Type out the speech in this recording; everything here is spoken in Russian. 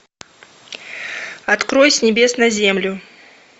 открой с небес на землю